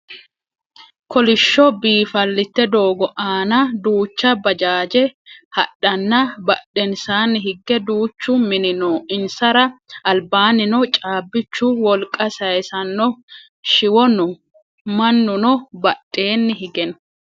kolishsho biifallite doogo aana duucha bajaaje hadhanna badhensaanni hige duuchu mini no insara albaannino caabbichu wolqa sayiissanno shiwo no mannuno badheenni hige no